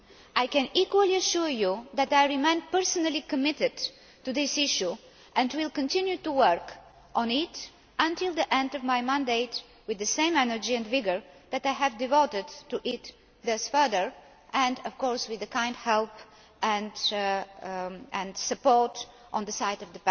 I can equally assure you that I remain personally committed to this issue and will continue to work on it until the end of my mandate with the same energy and vigour that I have devoted to it thus far, and of course with the kind help and support